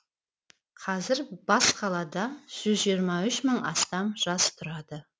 қазір бас қалада жүз жиырма үш мың мыңнан астам жас тұрады